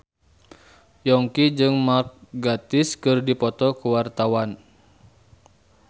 Yongki jeung Mark Gatiss keur dipoto ku wartawan